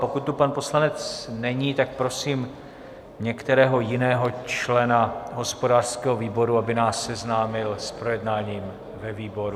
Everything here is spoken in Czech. Pokud tu pan poslanec není, tak prosím některého jiného člena hospodářského výboru, aby nás seznámil s projednáním ve výboru.